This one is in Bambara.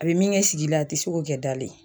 A bi min kɛ sigi la a ti se k'o kɛ dalen